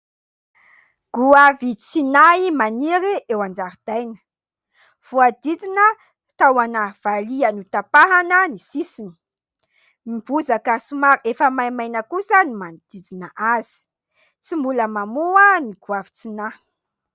Goavy tsy nahy maniry eo an-jaridaina, voahodidina tahona valiha notapahana ny sisiny, ny bozaka somary efa maimaina kosa no manodidina azy, tsy mbola mamoa ny goavy tsy nahy.